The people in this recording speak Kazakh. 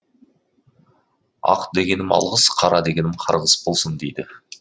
ақ дегенім алғыс қара дегенім қарғыс болсын дейді